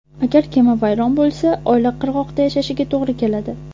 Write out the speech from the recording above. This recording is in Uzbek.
Agar kema vayron bo‘lsa, oila qirg‘oqda yashashiga to‘g‘ri keladi.